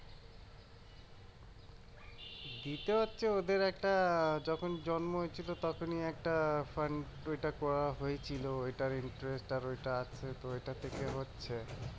দিতে হচ্ছে ওদের একটা যখন জন্ম হয়েছিল তখনই একটা fund ওইটা করা হয়েছিল ওইটার interest আর ওইটা আসছে তো ওইটা থেকে হচ্ছে